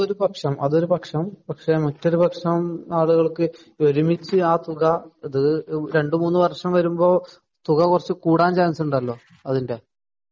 അത് ഒരു പക്ഷം അത് ഒരു പക്ഷം പക്ഷേ മറ്റ് ഒരു പക്ഷം ആളുകൾക്ക് ഒരുമിച്ച് ആ ഒരു തുക ഇത് രണ്ടു മൂന്നു വർഷം വരുമ്പോ തുക കുറച്ച് കൂടാൻ ചാൻസ് ഉണ്ടല്ലോ അതിന്റെ